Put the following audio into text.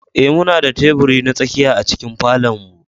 Ee, muna da teburi na tsakiya a cikin falon mu.